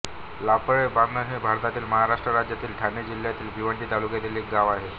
लापाळे बांधण हे भारतातील महाराष्ट्र राज्यातील ठाणे जिल्ह्यातील भिवंडी तालुक्यातील एक गाव आहे